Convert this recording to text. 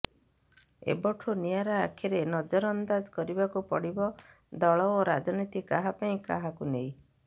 ଏବଠୁ ନିଆରା ଆଖିରେ ନଜରଅନ୍ଦାଜ କରିବାକୁ ପଡିବ ଦଳ ଓ ରାଜନୀତି କାହା ପାଇଁ କାହାକୁ ନେଇ